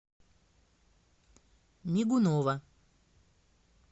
мигунова